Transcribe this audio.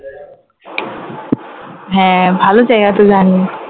হ্যাঁ ভালো জায়গা তো জানি